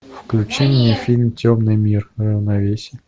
включи мне фильм темный мир равновесие